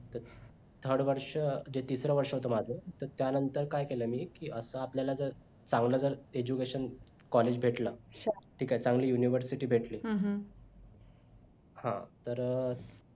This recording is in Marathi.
third वर्ष जे तिसर वर्ष होत माझं तरत्यानंतर काय केल मी कि आता आपल्याला जर चांगला जर education college भेटल ठीक आहे चांगली university भेटली हा तर